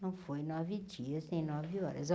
Não foi nove dias nem nove horas.